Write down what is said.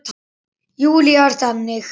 Júlía er þannig.